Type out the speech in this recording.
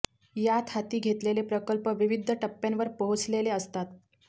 यात हाती घेतलेले प्रकल्प विविध टप्प्यांवर पोहोचलेले असतात